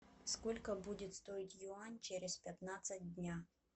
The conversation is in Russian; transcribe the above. сколько будет стоить юань через пятнадцать дня